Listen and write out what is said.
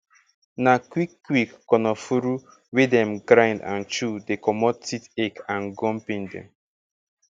na quick quick konofuru wey dem grind and chew dey comot tooth ache and gum pain dem